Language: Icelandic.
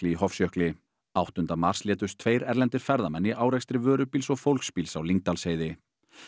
í Hofsjökli áttunda mars létust tveir erlendir ferðamenn í árekstri vörubíls og fólksbíls á Lyngdalsheiði